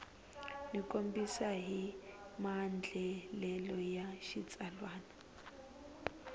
tikombisa hi maandlalelo ya xitsalwana